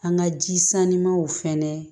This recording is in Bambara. An ka ji sannimanw fɛnɛ